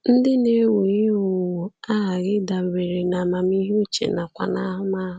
Ndị na-ewu ihe owuwu aghaghị ịdabere n’amamihe uche nakwa n’ahụmahụ.